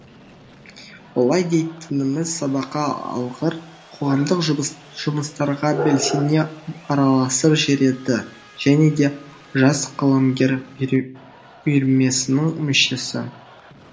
олай дейтініміз сабаққа алғыр қоғамдық жұмыс жұмыстарға белсене араласып жүреді және де жас қаламгер үйірмесінің мүшесі